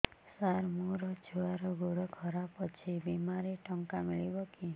ସାର ମୋର ଛୁଆର ଗୋଡ ଖରାପ ଅଛି ବିମାରେ ଟଙ୍କା ମିଳିବ କି